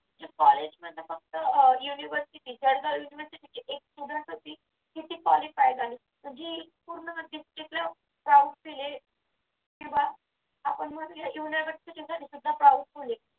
college मध्ये फक्त अह university एक student होती ती qualified झाली म्हणजे पूर्ण म्हणजेच powerful आहे तिथलं किंवा university सुद्धा powerful आहे